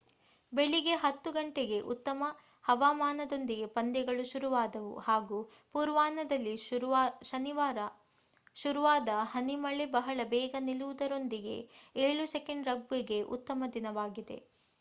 ಬೆಳಿಗ್ಗೆ 10.00 ಗಂಟೆಗೆ ಉತ್ತಮ ಹವಾಮಾನದೊಂದಿಗೆ ಪಂದ್ಯಗಳು ಶುರುವಾದವು ಹಾಗು ಪೂರ್ವಾಹ್ನದಲ್ಲಿ ಶುರುವಾದ ಹನಿಮಳೆ ಬಹಳ ಬೇಗ ನಿಲ್ಲುವುದರೊಂದಿಗೆ 7's ರಗ್ಬಿ ಗೆ ಉತ್ತಮ ದಿನವಾಗಿದೆ